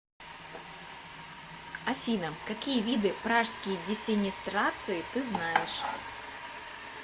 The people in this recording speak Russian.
афина какие виды пражские дефенестрации ты знаешь